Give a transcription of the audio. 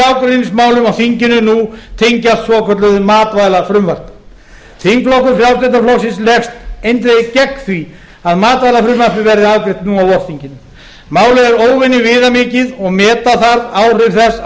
á þinginu nú tengist svokölluðu matvælafrumvarpi þingflokkur frjálslynda flokksins leggst eindregið gegn því að matvælafrumvarpið verði afgreitt nú á vorþinginu málið er óvenju viðamikið og meta þarf áhrif þess á